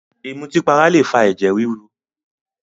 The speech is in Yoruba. Ìmùtípara lè fa ẹ̀jẹ̀ ríru